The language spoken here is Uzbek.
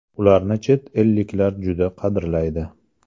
Ularni chet elliklar juda qadrlaydi.